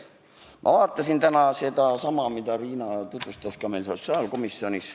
Ma vaatasin täna neidsamu andmeid, mida Riina tutvustas meile sotsiaalkomisjonis.